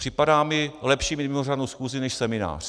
Připadá mi lepší mít mimořádnou schůzi než seminář.